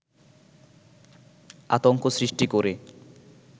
আতংক সৃষ্টি করে